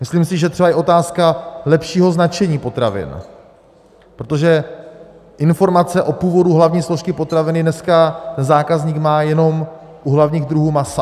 Myslím si, že třeba i otázka lepšího značení potravin, protože informace o původu hlavní složky potraviny dneska zákazník má jenom u hlavních druhů masa.